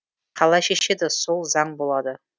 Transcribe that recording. қалай шешеді сол заң болады